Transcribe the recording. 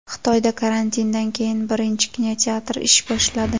Xitoyda karantindan keyin birinchi kinoteatr ish boshladi.